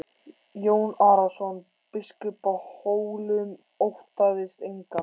Jón Arason biskup á Hólum óttaðist engan.